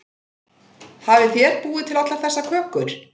Hafið þér búið til allar þessar kökur?